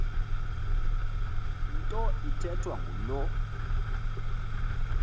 nto ithethwa ngulo